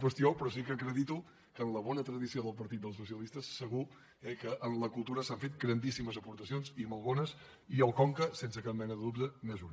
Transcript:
qüestió però sí que acredito que en la bona tradició del partit dels socialistes segur eh que en la cultura s’han fet grandíssimes aportacions i molt bones i el conca sense cap mena de dubte n’és una